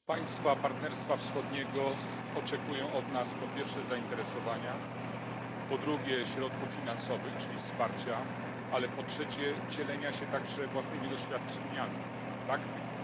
Pani Przewodnicząca! Państwa Partnerstwa Wschodniego oczekują od nas, po pierwsze, zainteresowania, po drugie, środków finansowych, czyli wsparcia, ale po trzecie, dzielenia się także własnymi doświadczeniami, praktyką.